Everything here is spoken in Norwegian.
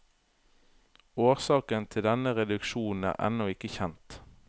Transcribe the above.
Årsaken til denne reduksjon er ennå ikke kjent.